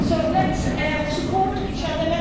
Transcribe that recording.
So let's support each other.